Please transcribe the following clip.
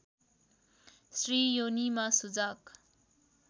स्त्री योनिमा सुजाक